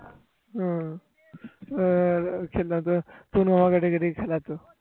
তনু আমাকে ডেকে ডেকে খেলা তো